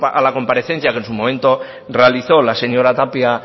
a la comparecencia que en su momento realizó la señora tapia